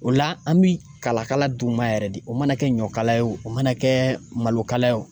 O la an bi kalakala d'u ma yɛrɛ de o mana kɛ ɲɔkala ye o mana kɛ malo kala ye o.